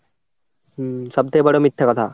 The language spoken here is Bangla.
হম সব থেকে বড় মিথ্যা কথা।